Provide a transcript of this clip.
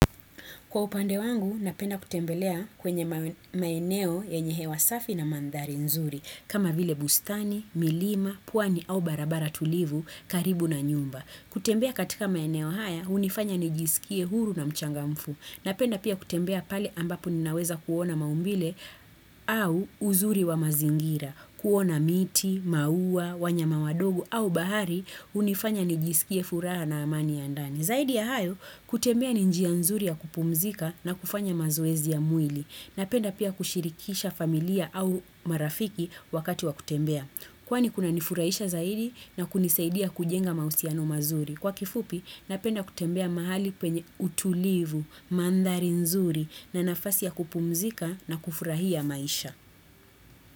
Kwa upande wangu, napenda kutembelea kwenye maineo yenye hewa safi na mandhari nzuri, kama vile bustani, milima, puani au barabara tulivu karibu na nyumba. Kutembea katika maineo haya, unifanya nijisikie huru na mchanga mfu. Napenda pia kutembea pale ambapo ninaweza kuona maumbile au uzuri wa mazingira. Kuona miti, maua, wanyama wadogo au bahari, unifanya nijisikie furaha na amani ya ndani. Zaidi ya hayo, kutembea ni njia nzuri ya kupumzika na kufanya mazoezi ya mwili. Napenda pia kushirikisha familia au marafiki wakati wa kutembea. Kwani kunanifurahisha zaidi na kunisaidia kujenga mausiano mazuri. Kwa kifupi, napenda kutembea mahali penye utulivu, mandhari nzuri na nafasi ya kupumzika na kufurahia maisha.